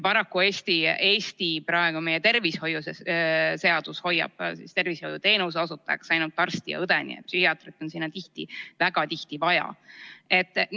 Paraku on Eestis praegu nii, et meie tervishoiuseadus peab tervishoiuteenuse osutajaks ainult arsti ja õde, nii et psühhiaatrit on sellesse meeskonda tihti, väga tihti vaja.